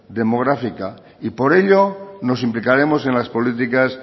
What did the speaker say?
demográfica y por ello nos implicaremos en las políticas